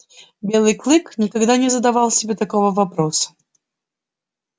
белый клык никогда не задавал себе такого вопроса